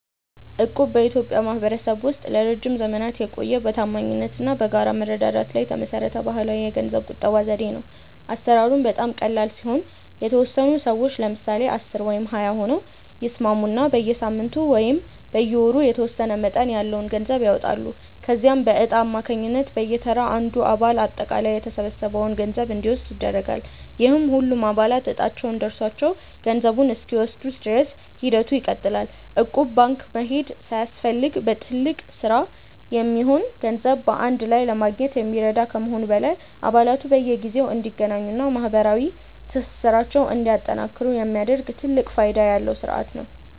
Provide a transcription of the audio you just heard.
እቁብ በኢትዮጵያ ማኅበረሰብ ውስጥ ለረጅም ዘመናት የቆየ፣ በታማኝነት እና በጋራ መረዳዳት ላይ የተመሠረተ ባሕላዊ የገንዘብ ቁጠባ ዘዴ ነው። አሠራሩም በጣም ቀላል ሲሆን፤ የተወሰኑ ሰዎች (ለምሳሌ 10 ወይም 20 ሆነው) ይስማሙና በየሳምንቱ ወይም በየወሩ የተወሰነ መጠን ያለው ገንዘብ ያዋጣሉ። ከዚያም በዕጣ አማካኝነት በየተራ አንዱ አባል አጠቃላይ የተሰበሰበውን ገንዘብ እንዲወስድ ይደረጋል፤ ይህም ሁሉም አባላት ዕጣቸው ደርሷቸው ገንዘቡን እስኪወስዱ ድረስ ሂደቱ ይቀጥላል። እቁብ ባንክ መሄድ ሳያስፈልግ ለትልቅ ሥራ የሚሆን ገንዘብ በአንድ ላይ ለማግኘት የሚረዳ ከመሆኑም በላይ፣ አባላቱ በየጊዜው እንዲገናኙና ማኅበራዊ ትስስራቸውን እንዲያጠናክሩ የሚያደርግ ትልቅ ፋይዳ ያለው ሥርዓት ነው።